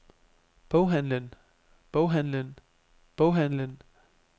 boghandlen boghandlen boghandlen